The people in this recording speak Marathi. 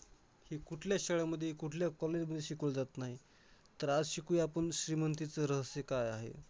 हे कुठल्याच शाळामध्ये, कुठल्या college मध्ये शिकवलं जात नाही. तर आज शिकूया आपण श्रीमंतीचं रहस्य काय आहे.